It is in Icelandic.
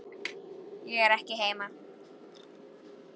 Ég er ekki heima